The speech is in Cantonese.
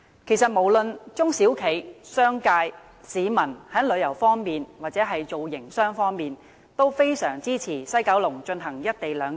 其實，無論是中小企、商界、市民，在旅遊或營商方面也非常支持在西九龍進行"一地兩檢"。